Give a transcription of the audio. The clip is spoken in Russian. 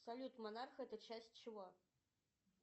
салют монарх это часть чего